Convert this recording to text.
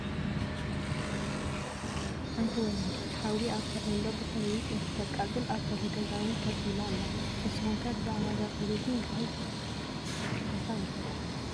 ሓንቲ ወላዲት ሓዊ ኣብ ፎርኔሎ ብኽርቢት እንትተቃፅል፣ ኣብ በሪ ገዛ እውን ከፍ ኢላ ኣላ፡፡ ንስኹም ከ ብዛዕባ እዛ ሰበይቲ እንታይ ሓሳብ ኣለኩም?